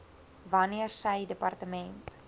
wanneer sy departement